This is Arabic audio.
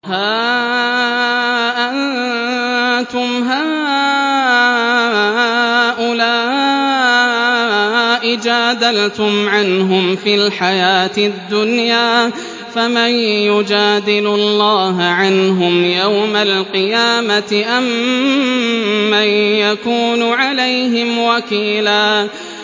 هَا أَنتُمْ هَٰؤُلَاءِ جَادَلْتُمْ عَنْهُمْ فِي الْحَيَاةِ الدُّنْيَا فَمَن يُجَادِلُ اللَّهَ عَنْهُمْ يَوْمَ الْقِيَامَةِ أَم مَّن يَكُونُ عَلَيْهِمْ وَكِيلًا